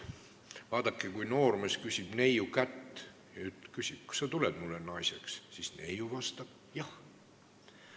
Vaadake, kui noormees palub neiu kätt, küsib, kas sa tuled mulle naiseks, siis neiu vastab: "Jah!